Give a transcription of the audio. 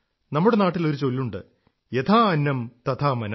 നമ്മുടെ നാട്ടിൽ ഒരു ചൊല്ലുണ്ട് യഥാ അന്നം തഥാ മനം